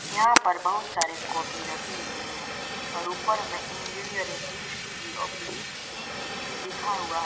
यहां पर बहुत सारे कॉपी रखे हुए हैं और ऊपर में इंजीनियरिंग इ_सी_इ ऑब्लिक लिखा ई_ई_ई हुआ --